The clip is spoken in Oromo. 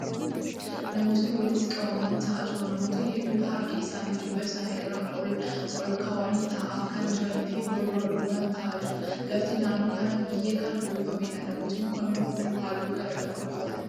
Namootni walitti qabamanii taa'aa jiru. Namootni hedduun harka isaanii jilba isaanii irra olkaawanii taa'aa kan jiranii fi wal duraa duuba taa'aa jiru. Lafti naannoo kanaa biyyee kan uwwifameedha. Namootni kunneen huccuu haalluu garagaraa uffatanii jiru.